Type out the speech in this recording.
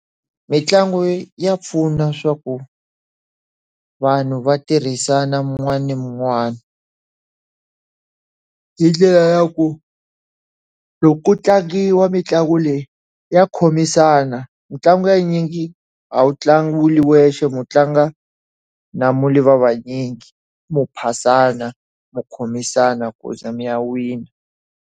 Mintlangu ya pfuna swa ku vanhu va tirhisana wun'wana na wun'wana. Hi ndlela ya ku, loko ku tlangiwa mitlangu leyi ya khomisana. Mintlangu ya nyingi a wu tlangi wu ri wexe, u tlanga na va vanyingi mi phasana, mi khomisana ku za mi ya wina.